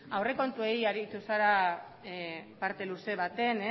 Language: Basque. aurrekontuei aritu zara parte luze baten